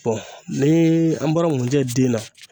bɔn nii an bɔra ŋunjɛ den na